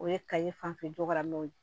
O ye kayi fanfɛla mɛn